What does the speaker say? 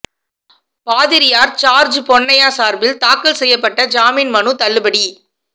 பாதிரியார் ஜார்ஜ் பொன்னையா சார்பில் தாக்கல் செய்யப்பட்ட ஜாமீன் மனு தள்ளுபடி